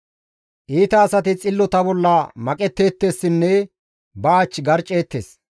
Iita asati xillota bolla maqetteettessinne ba ach garcceettes.